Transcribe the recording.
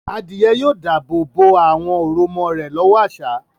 Adìyẹ yóò dáàbò bo àwọn òròmọ rẹ̀ lọ́wọ́ àṣá.